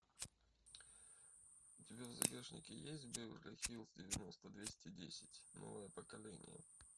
у тебя в загашнике есть беверли хиллз девяносто двести десять новое поколение